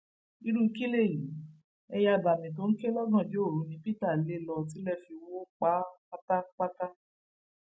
irú kílẹyí ẹyẹ abàmì tó ń ké lọgànjọ òru ni peter lè lọ tilẹ fi wọ pa á pátápátá